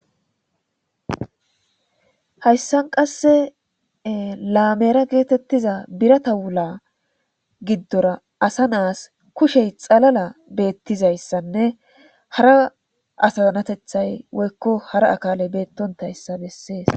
hayssan qasse laameera geetettiza birata wula giddora asa naas kushey xalala beettizayssanne hara asaanatethay woykko hara akaale beettontayssa bessees